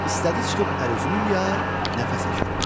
İstədi çıxıb əl üzünü yuya, nəfəs eşitdi.